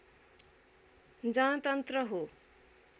जनतन्त्र हो